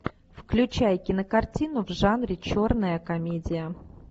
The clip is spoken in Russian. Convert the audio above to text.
включай кинокартину в жанре черная комедия